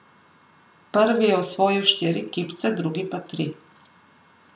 Prvi je osvojil štiri kipce, drugi pa tri.